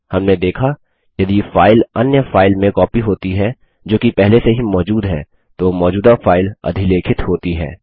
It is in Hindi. हमने देखा यदि फाइल अन्य फाइल में कॉपी होती है जो कि पहले से ही मौजूद है तो मौजूदा फाइल अधिलेखित होती है